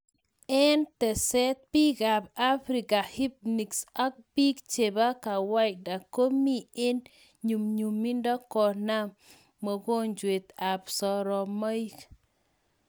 Eng teset biik ab africa hispnics ak biik chebaa kawaida komii eng nyumnyumido konam mogonjet ab soromaik